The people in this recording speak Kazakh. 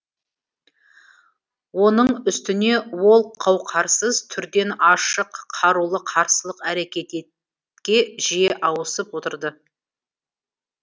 оның үстіне ол қаукарсыз түрден ашық қарулы қарсылық әрекетке жиі ауысып отырды